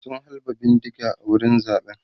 sun halba bindiga a wurin zaɓen